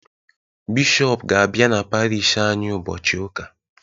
Bishọp ga-abịa n'Parish anyị ụbọchị Ụka.